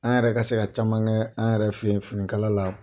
An yɛrɛ ka se ka caman kɛ an yɛrɛ fɛ yen finikala la.